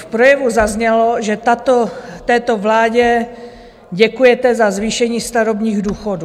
V projevu zaznělo, že této vládě děkujete za zvýšení starobních důchodů.